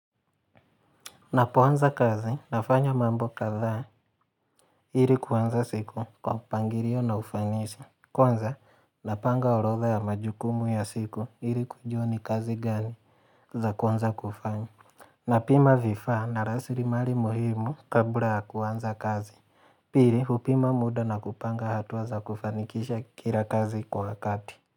Napoanza kazi, nafanya mambo kadhaa, ili kuanza siku kwa mpangilio na ufanisi. Kwanza, napanga orodha ya majukumu ya siku ili kujua ni kazi gani za kuanza kufanya. Napima vifaa na lasirimali muhimu kabla ya kuanza kazi. Pili, hupima muda na kupanga hatua za kufanikisha kila kazi kwa wakati.